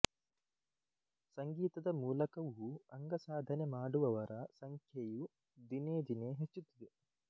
ಸಂಗೀತದ ಮೂಲಕವೂ ಅಂಗಸಾಧನೆ ಮಾಡುವವರ ಸಂಖ್ಯೆಯು ದಿನೇ ದಿನೇ ಹೆಚ್ಚುತ್ತಿದೆ